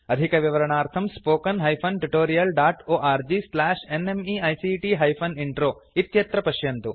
अधिकविवरणार्थं spoken hyphen tutorial dot org slash NMEICT hyphen intro इत्यत्र पश्यन्तु